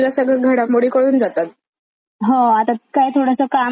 हो आता काय थोडस काम आवरते आणि न्यूज बघते.